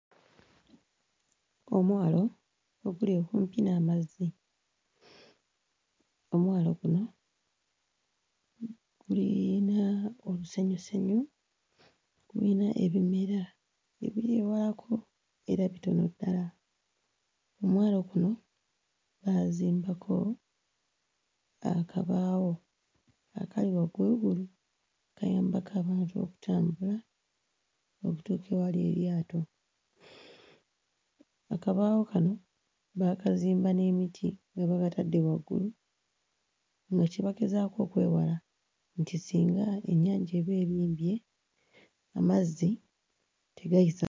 Omwalo oguli okumpi n'amazzi. Omwalo guno gulina olusenyusenyu, gulina ebimera ebiri ewalako era bitono ddala. Omwalo guno baazimbako akabaawo akali wagguluggulu, kayambako abantu okutambula okutuuka ewali eryato. Akabaawo kano baakazimba n'emiti nga babatadde waggulu nga kye bagezaako okwewala nti singa ennyanja eba ebimbye, amazzi tegayisa....